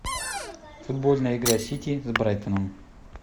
футбольная игра сити с брэйтоном